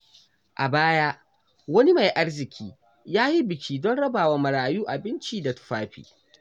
A baya, wani mai arziƙi ya yi biki don rabawa marayu abinci da tufafi.